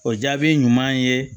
O jaabi ɲuman ye